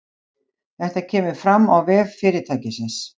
Þetta kemur fram á vef fyrirtækisins